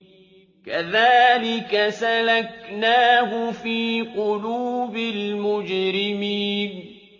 كَذَٰلِكَ سَلَكْنَاهُ فِي قُلُوبِ الْمُجْرِمِينَ